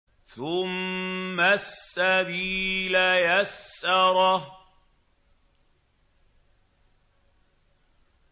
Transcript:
ثُمَّ السَّبِيلَ يَسَّرَهُ